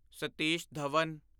Satish Dhawan